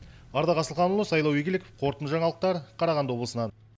ардақ асылханұлы сайлау игіліков қорытынды жаңалықтар қарағанды облысынан